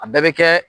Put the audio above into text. A bɛɛ bɛ kɛ